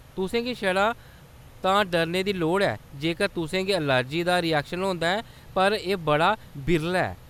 तुसें गी छड़ा तां डरने दी लोड़ ऐ जेकर तुसें गी अलर्जी दा रिऐक्शन होंदा ऐ, पर एह्‌‌ बड़ा बिरला ऐ।